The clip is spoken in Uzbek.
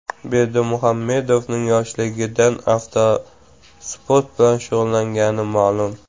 Berdimuhamedovning yoshligidan avtosport bilan shug‘ullangani ma’lum.